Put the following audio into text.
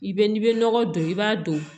I bɛ n'i bɛ nɔgɔ don i b'a don